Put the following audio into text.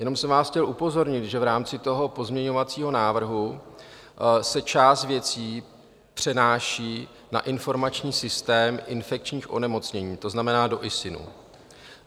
Jenom jsem vás chtěl upozornit, že v rámci toho pozměňovacího návrhu se část věcí přenáší na informační systém infekčních onemocnění, to znamená do ISIN.